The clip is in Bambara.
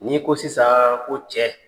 N'i ko sisaan ko cɛ